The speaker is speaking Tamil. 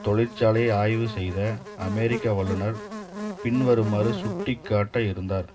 தொழிற்சாலையை ஆய்வு செய்த அமெரிக்க வல்லுநர் பின் வருமாறு சுட்டிக்காட்ட இருந்தார்